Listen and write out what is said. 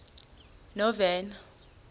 novena